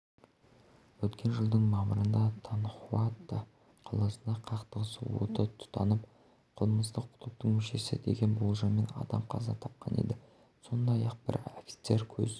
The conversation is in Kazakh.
өткен жылдың мамырында танхуато қаласында қақтығыс оты тұтанып қылмыстық топтың мүшесі деген болжаммен адам қаза тапқан еді сондай-ақ бір офицер көз